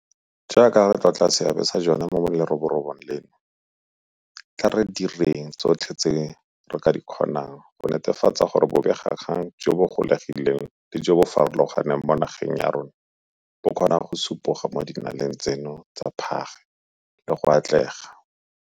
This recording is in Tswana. Jaaka re tlotla seabe sa jone mo leroborobong leno, tla re direng tsotlhe tse re ka di kgonang go netefatsa gore bobegakgang jo bo gololegileng le jo bo farologaneng mo nageng ya rona bo kgona go supoga mo dinaleng tseno tsa phage le go atlega.